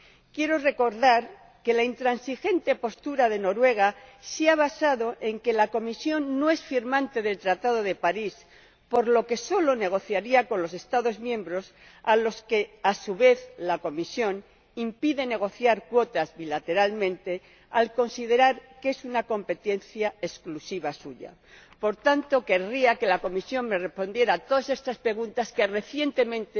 Quiero recordar que la intransigente postura de Noruega se ha basado en que la Comisión no es firmante del Tratado de París, por lo que solo negociaría con los Estados miembros, a los que, a su vez, la Comisión impide negociar cuotas bilateralmente al considerar que es una competencia exclusiva suya. Por tanto, querría que la Comisión me respondiera a todas estas preguntas que han surgido recientemente